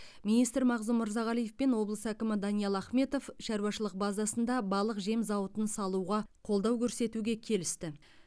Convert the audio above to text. министр мағзұм мырзағалиев пен облыс әкімі даниал ахметов шаруашылық базасында балық жем зауытын салуға қолдау көрсетуге келісті